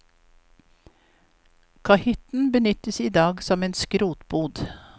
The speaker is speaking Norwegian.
Kahytten benyttes i dag som en skrotbod.